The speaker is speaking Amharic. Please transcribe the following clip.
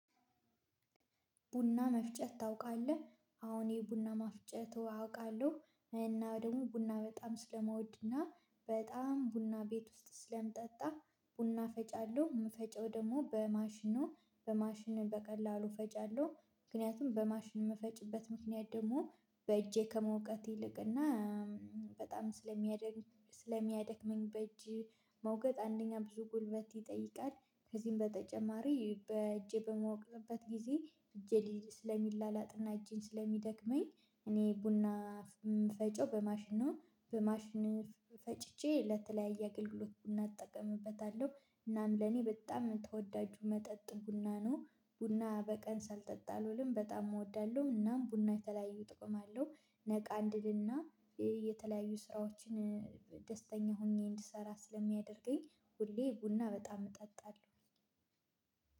ቡና መፍጨት ታውቃለህ አዎ እኔ ቡና ማፍጨቱ አውቃለሁ እና ደግሞ ቡና በጣም ስለምውድ እና በጣም ቡና ቤት ውስጥ ስለምጠጣ ቡና ፈጫለሁ የምፈጭው ደግሞ በማሽን ነው በማሽን በቀላሉ ፈጫለሁ ምክንያቱም በማሽን የምፈጭበት ምክንያት ደግሞ በእጄ ከመውቀጥ ይልቅና በጣም ስለሚያደክመኝ ስለሚያደክመኝ በእጅ መውቀጥ አንደኛ ብዙ ጉልበት ይጠይቃል ከዚህም በተጨማሪ በእጄ በመውቅጥበት ጊዜ እጄ ስለሚላላጥና እጄን ስለሚደክመኝ እኔ ቡና ምፈጨው በማሽን ነው በማሽን ፈጭቼ ለተለያየ አገልግሎት እናጠቅምበታለሁ እናም ለኔ በጣም የምትወዳጁ መጠጥ ቡና ነው። ቡና በቀን ስልጠጣአልውልም በጣም እወዳለሁ። እናም ቡና የተለያዩ ጥቅም አለው። ነቃ እንድልና የተለያዩ ስራዎችን ደስተኛ ሆኜ እንድሰራ ስለሚያደርገኝ። ሁሌ ቡና በጣም እጠጣለሁ።